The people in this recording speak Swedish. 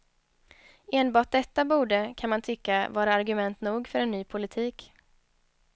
Enbart detta borde, kan man tycka, vara argument nog för en ny politik.